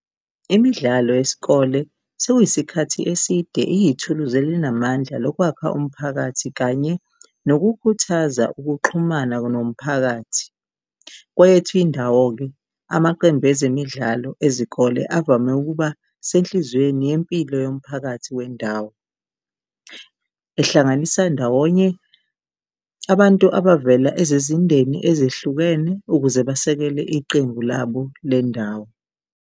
Imidlalo yesikole sekuyisikhathi eside iyithuluzi elinamandla lokwakha umphakathi kanye nokukhuthaza ukuxhumana nomphakathi. Kweyethu indawo-ke, amaqembu ezemidlalo ezikole avame ukuba senhliziyweni yempilo yomphakathi wendawo, ehlanganisa ndawonye abantu abavela ezizindeni ezehlukene ukuze basekele iqembu labo lendawo.